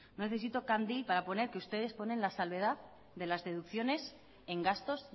no necesito candil para poner que ustedes ponen la salvedad de las deducciones en gastos